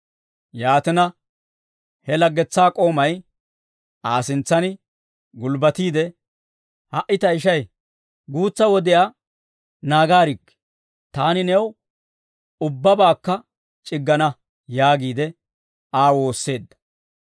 «Yaatina he Aa laggetsaa k'oomay Aa sintsaan gulbbatiide, ‹Ha"i tayishay guutsa wodiyaa naagaarikkii; taani new ubbabaakka c'iggana› yaagiide Aa woosseedda.